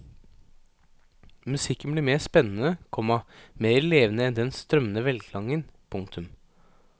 Musikken blir mer spennende, komma mer levende enn den strømmende velklangen. punktum